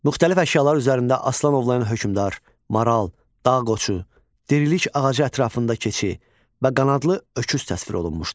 Müxtəlif əşyalar üzərində aslan ovlayan hökmdar, maral, dağ qoçu, dirilik ağacı ətrafında keçin və qanadlı öküz təsvir olunmuşdur.